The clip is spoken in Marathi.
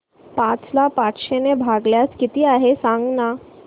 पाच ला पाचशे ने भागल्यास किती आहे सांगना